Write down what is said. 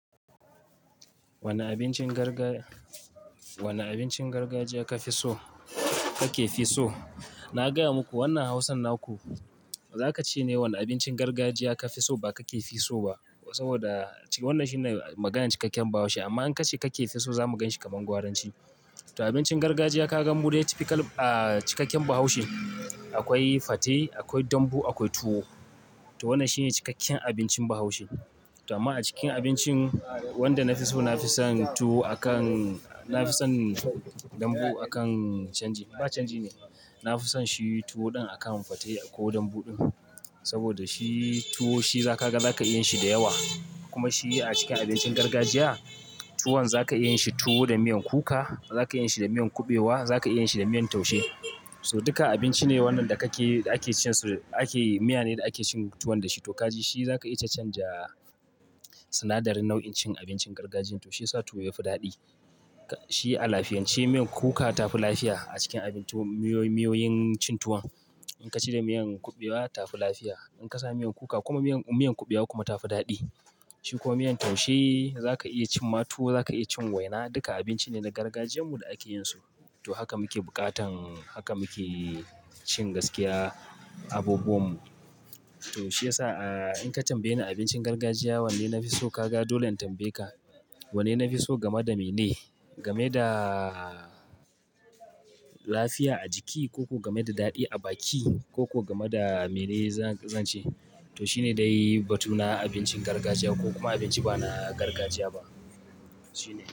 Wani abincin garga, wani abincin gargajiya ka fi so? Kake fi so? Na gaya muku wannan hausan naku, za ka ce ne wane abincin gargajiya ka fi so ba kake fi so ba. Saboda wannan shine maganar cikakken Bahaushe. Amma in ka ce kake fi so, za mu gan shi kamar Gwaranci. Toh abincin gargajiya kaga mu dai typical ahh cikakken Bahaushe. Akwai fate, akwai dambu, akwai tuwo. Toh wannan shi ne cikakken abincin Bahaushe. Amma a cikin abincin wanda na fi so, na fi son tuwo a kan, na fi son dambu a kan canji, ba canji ne. Na fi son shi tuwo ɗin a kan fate ko dambu ɗin. Saboda shi tuwo shi za ka ga za ka iya yin shi da yawa. Kuma shi a cikin abincin gargajiya, tuwon za ka iya yin shi tuwo da miyan kuka, za ka iya yin shi da miyan kuɓewa, za ka iya yin shi da miyan taushe. So duka abinci ne wannan da kake da ake cin su, ake miya ne da ake cin tuwon dashi. Toh kaji shi za ka iya cacanja sinadarin nau'in cin abincin gargajiyan. Toh shi ya sa tuwo ya fi daɗi. Shi a lafiyance, miyan kuka ta fi lafiya a cikin abinci miyo miyoyin cin tuwon. In ka ci da miyan kuɓewa ta fi lafiya. In ka sa miyan kuka kuma miyan kuɓewa kuma ta fi daɗi. Shi kuma miyan taushe za ka iya cin ma tuwo, za ka iya cin waina. Duka abinci ne na gargajiyanmu da ake yin su. To haka muke bukatan, haka muke cin gaskiya abubuwan mu. Toh shi ya sa in ka tambaye ni abincin gargajiya wanne na fi so, ka ga dole in tambaye ka, "Wanne na fi so game da mene? Game da lafiya a jiki ko ko game da daɗi a baki ko ko game da mene za ka ce?" To shi ne dai batuna abincin gargajiya ko kuma abinci bana gargajiya ba. Shi ne.